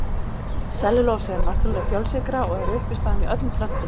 Sellulósi er náttúrleg fjölsykra og er uppistaðan í öllum plöntum.